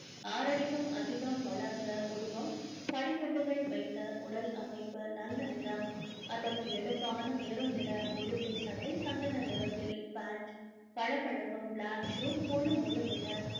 ஆறடிக்கும் அதிகம் வளர்ந்த உருவம் படிக்கட்டுகள் வைத்த உடல் அமைப்பு நல்ல நிறம் அதற்கு எடுப்பான maroon நிற முழுக்கை சட்டை சந்தன நிறத்தில் pant பளபளக்கும் black shoe மொழு மொழுவென